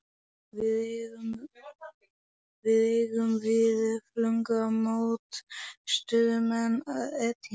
Við eigum við öfluga mótstöðumenn að etja.